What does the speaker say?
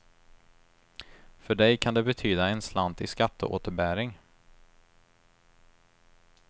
För dig kan det betyda en slant i skatteåterbäring.